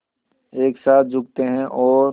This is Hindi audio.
एक साथ झुकते हैं और